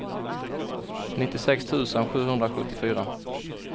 nittiosex tusen sjuhundrasjuttiofyra